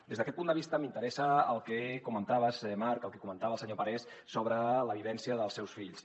des d’aquest punt de vista m’interessa el que comentaves marc el que comentava el senyor parés sobre la vivència dels seus fills